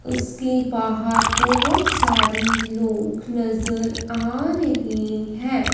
उसके बाहर बहोत सारे लोग नजर आ रहे हैं।